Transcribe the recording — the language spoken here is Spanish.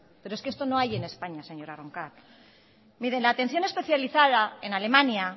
pero es que esto no hay en españa señora roncal mire la atención especializada en alemania